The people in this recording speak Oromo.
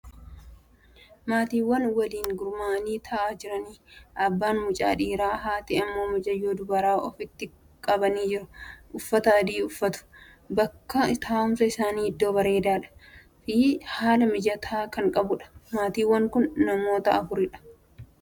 Maatiiwwan waliin gurmaa'anii tahaa jiraniidha. Abbaan mucaa dhiiraa, haati ammoo mucayyoo dubaraa ofitti qabanii jiru. Uffata adii uffatu. Bakki taa'umsa isaanii iddoo bareedaa Fi haala mijataa kan qabuudha. Maatiiwwan kun namoota afuriidha.